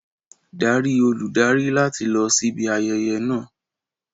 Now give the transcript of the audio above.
Darí olùdarí láti lọ síbi ayẹyẹ náà.